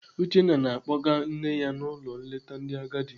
Uchenna na-akpọga nne ya n'ụlọ nleta ndị agadi.